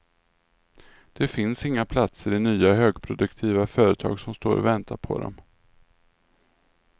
Det finns inga platser i nya högproduktiva företag som står och väntar på dem.